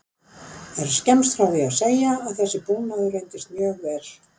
Er skemmst frá því að segja að þessi búnaður reyndist mjög vel.